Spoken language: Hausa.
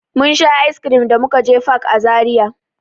Mun sha "ice cream" da muka je fak a Zaria.